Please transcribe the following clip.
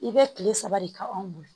I bɛ kile saba de kɛ anw bolo